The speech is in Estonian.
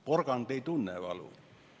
Porgand ei tunne valu.